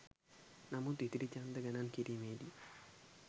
නමුත් ඉතිරි ඡන්ද ගණන් කිරීමේ දී